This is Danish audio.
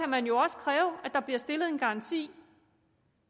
man jo også kræve at der bliver stillet en garanti